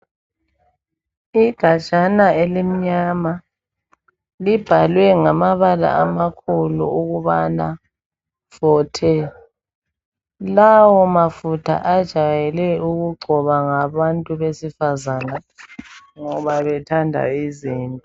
Igajana elimnyama libhalwe ngamabala amakhulu ukubana"Forte" .Lawo mafutha ajwayele ukugcotshwa ngabantu besifazane ngoba bethanda izinto.